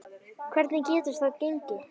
Hvernig getur það gengi?